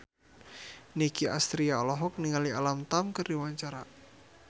Nicky Astria olohok ningali Alam Tam keur diwawancara